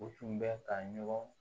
U tun bɛ ka ɲɔgɔn